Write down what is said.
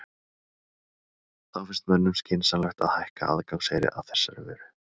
Þá finnst mönnum skynsamlegt að hækka aðgangseyri að þessari vöru?